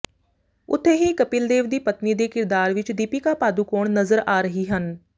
ਉੱਥੇ ਹੀ ਕਪਿਲ ਦੇਵ ਦੀ ਪਤਨੀ ਦੇ ਕਿਰਦਾਰ ਵਿੱਚ ਦੀਪਿਕਾ ਪਾਦੁਕੋਣ ਨਜ਼ਰ ਆ ਰਹੀ ਹਨ